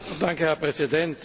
Herr Präsident!